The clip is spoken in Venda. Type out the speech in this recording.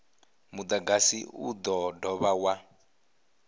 mudagasi u do dovha wa